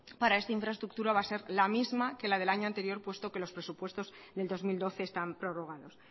para esta infraestructura va a ser la misma que la del año anterior puesto que los presupuestos del dos mil doce están prorrogados